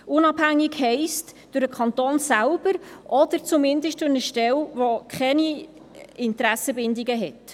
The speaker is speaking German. «Unabhängig» heisst durch den Kanton selbst oder zumindest durch eine Stelle, die keine Interessenbindungen hat.